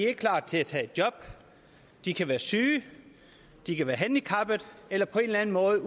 er klar til at tage et job de kan være syge de kan være handicappede eller på anden måde